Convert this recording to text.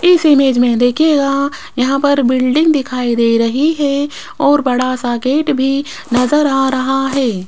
इस इमेज में दिखेगा यहां पर बिल्डिंग दिखाई दे रही है और बड़ा सा गेट भी नजर आ रहा है।